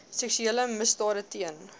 seksuele misdade teen